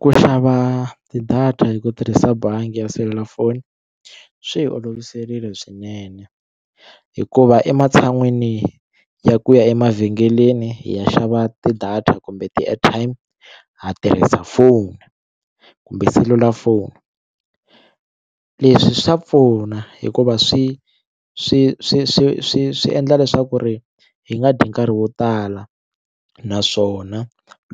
Ku xava ti-data hi ku tirhisa bangi ya selulafoni swi hi oloviserile swinene hikuva ematshan'wini ya ku ya emavhengeleni hi ya xava t-idata kumbe ti-airtime ha tirhisa foni kumbe selulafoni leswi swa pfuna hikuva swi swi swi swi swi swi endla leswaku ri hi nga dyi nkarhi wo tala naswona